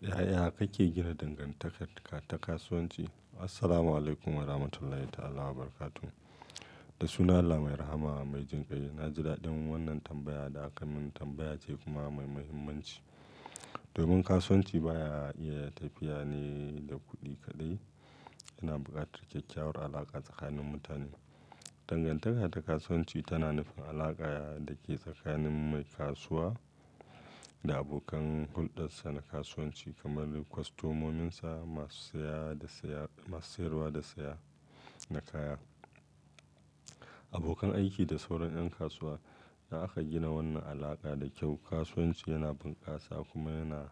Yaya kake gina dangantaka ta kasuwanci? Assalamualaikum warahmatullahi ta'ala wabarakatuhu. Da sunan Allah mai rahama mai jinkai, na ji daɗin wannan tambaya da aka min tambaya ce kuma mai muhimmanci. Domin kasuwanci baya iya tafiya ne da kuɗi kaɗai, yana buƙatar kyakkyawar alaƙa tsakanin mutane. Dangantaka ta kasuwanci tana nufin alaƙa da ke tsakanin mai kasuwa da abokan hulɗarsa na kasuwanci kamar kwastomominsa, masu saya da saya, masu sayarwa da saya na kaya. Abokan aiki da sauran ƴan kasuwa. In aka gina wannan alaƙa da kyau, kasuwanci yana bunkasa kuma yana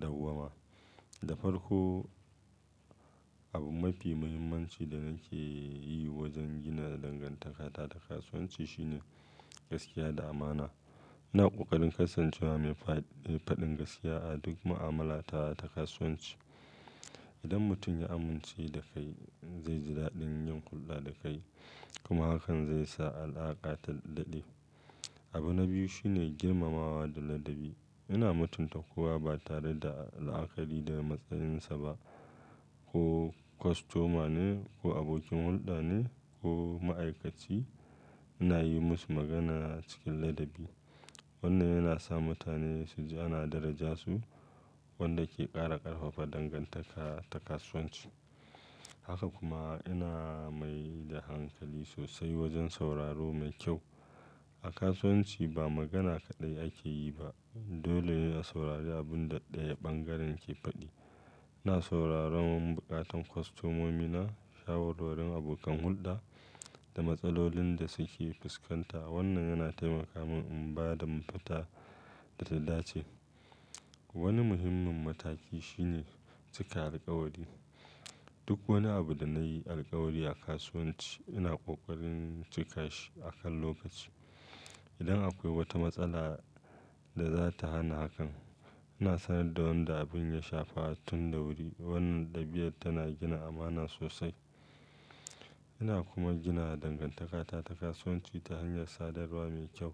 dawwama. Da farko, abu mafi muhimmanci da nake yi wajen gina dangantaka ta kasuwanci shine gaskiya da amana. Ina ƙoƙarin kasancewa mai fad mai faɗin gaskiya a duk mu'amalata ta kasuwanci. Idan mutum ya amince da kai, zai ji daɗin yin hulɗa da kai kuma hakan zai sa alaƙa ta daɗe. Abu na biyu shine girmamawa da ladabi. Ina mutunta kowa ba tare da la, akari da matsayinsa ba. Ko kwastoma ne ko abokin hulɗa ne ko ma'aikaci, ina yi masu magana cikin ladabi. Wannan yana sa mutane su ji ana daraja su wanda ke ƙara ƙarfafa dangantaka ta kasuwanci. Haka kuma ina mai da hankali sosai wajen sauraro mai kyau. A kasuwanci ba magana kaɗai ake yi ba, dole ne a saurari abin da ɗayan ɓangaren ke faɗi. Ina sauraron buƙatun kwastomomina, shawarwarin abokan hulɗa da matsalolin da suke fuskanta. Wannan yana taimaka man in ba da mafita da tallace. Wani muhimmin mataki shine cika alƙawari. Duk wani abu da na yi alƙawari a kasuwanci, ina ƙoƙarin cika shi a kan lokaci. Idan akwai wata matsala da za ta hana hakan, ina sanar da wannan da abin ya shafa tun da wuri. Wannan ɗabi'ar tana gina amana sosai. Ina kuma gina dangantakata ta kasuwanci ta hanyar sadarwa mai kyau.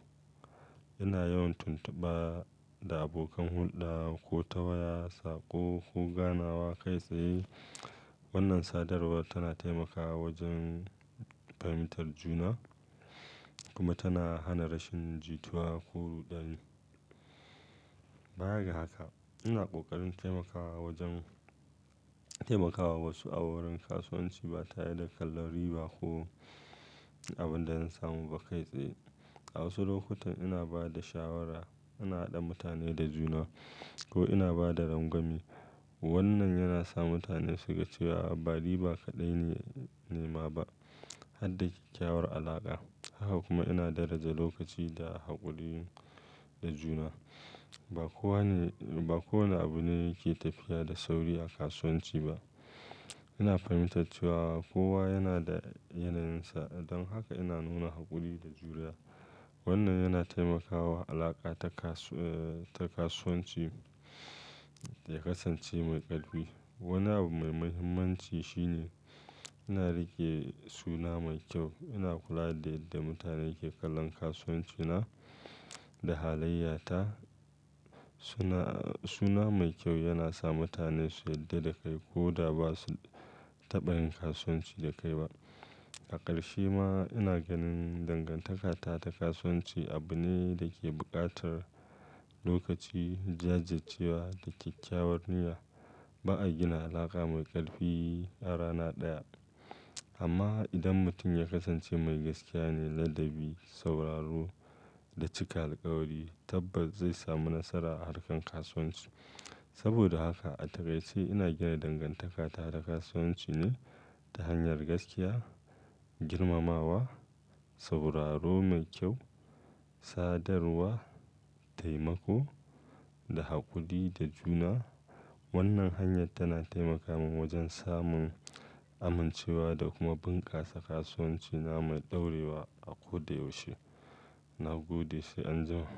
Ina yawan tuntuba da abokan hulɗa ko ta waya, saƙo, ko ganawa kai tsaye. Wannan sadarwar tana taimakawa wajen fahimtar juna kuma tana hana rashin jituwa ko ruɗani. Baya ga haka, ina ƙoƙarin taimakawa wajen-- taimakawa wasu a wurin kasuwanci ba tare da kallon riba ko abin da zan samu ba kai tsaye. A wasu lokutan ina ba da shawara, ina haɗa mutane da juna ko ina ba da rangwame. Wannan yana sa mutane su ga cewa ba riba kaɗai ne, nema ba, har da kyakkyawar alaƙa. Haka kuma ina daraja lokaci da haƙuri da juna. Ba kowane, ba kowane abu ne yake tafiya da sauri a kasuwanci ba. Ina fahimtar cewa kowa yana da yanayinsa, don haka ina nuna haƙuri da juriya. Wannan yana taimakawa alaƙa ta kasu-- ta kasuwanci ya kasance mai ƙarfi. Wani abu mai muhimmanci shine ina riƙe suna mai kyau. Ina kula da yadda mutane ke kallon kasuwancina da halayyata. Suna-- suna mai kyau yana sa mutane su yarda da kai ko da ba su taɓa yin kasuwanci da kai ba. A ƙarshe ma ina ganin dangantakata ta kasuwanci abu ne da ke buƙatar lokaci, jajircewa da kyakkyawar niyya. Ba a gina alaƙa mai ƙarfi a rana ɗaya. Amma idan mutum ya kasance mai gaskiya ne, ladabi, sauraro da cika alƙawari, tabbas zai sami nasara a harkar kasuwanci. Saboda haka a takaice ina gina dangantakata ta kasuwanci ne ta hanyar gaskiya, girmamawa, sauraro mai kyau, sadarwa, taimako da haƙuri da juna. Wannan hanyar tana taimakawa man wajen samun amincewa da kuma bunkasa kasuwancina mai ɗorewa a ko da yaushe. Na gode sai anjima.